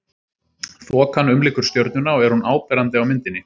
þokan umlykur stjörnuna og er hún áberandi á myndinni